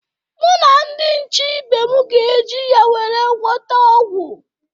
Mụ na ndị nche ibe m ga-eji ya were gwọta ọgwụ.